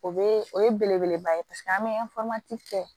O bee o ye belebeleba ye paseke an be kɛ